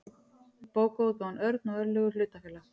bókaútgáfan örn og örlygur hlutafélag